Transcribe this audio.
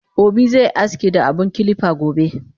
Obi ze aski da abun kilipa gobe